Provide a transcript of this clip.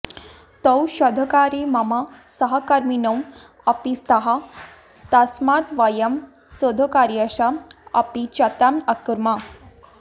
तौ शोधकार्ये मम सहकर्मिनौ अपि स्तः तस्मात् वयं शोधकार्यस्य अपि चर्चाम् अकुर्म